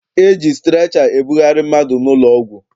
E ji strecha ebugharị mmadụ n'ụlọọgwụ.